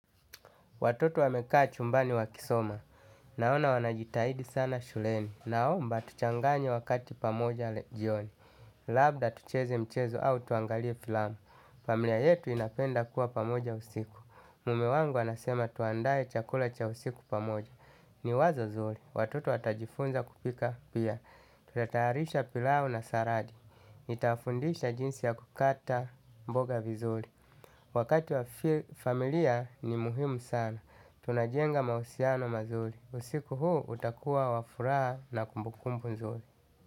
Watoto wa meka chumbani wa kisoma. Naona wanajitahidi sana shuleni. Naomba tuchanganye wakati pamoja jioni. Labda tucheze mchezo au tuangalie filamu. Familia yetu inapenda kuwa pamoja usiku. Mume wangu anasema tuandae chakula cha usiku pamoja. Ni wazo zuri. Watoto watajifunza kupika pia. Tutatayarisha pilau na saladi. Nitawafundisha jinsi ya kukata mboga vizuri. Wakati wa familia ni muhimu sana. Tunajenga mahusiano mazuri. Usiku huu utakuwa wa furaha na kumbukumbu nzuri.